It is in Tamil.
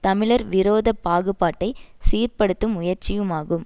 தமிழர் விரோத பாகுபாட்டை சீர்படுத்தும் முயற்சியுமாகும்